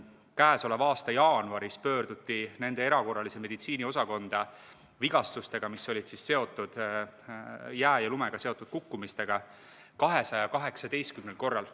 Käesoleva aasta jaanuaris pöörduti nende erakorralise meditsiini osakonda vigastustega, mis olid seotud jää ja lumega seotud kukkumisega, 218 korral.